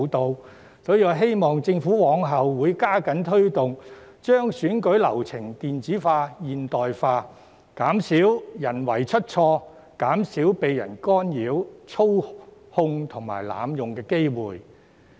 因此，我希望政府往後能加緊推動，將選舉流程電子化、現代化，減少人為出錯，也減低被干擾、操控和濫用的機會。